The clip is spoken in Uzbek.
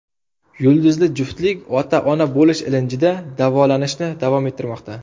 Yulduzli juftlik ota-ona bo‘lish ilinjida davolanishni davom ettirmoqda.